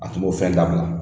A tun b'o fɛn dabila.